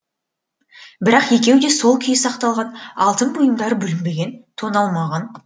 бірақ екеуі де сол күйі сақталған алтын бұйымдары бүлінбеген тоналмаған